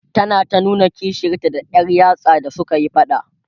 tana ta nuna kishiyarta da Yar yatsa da sukayi faɗa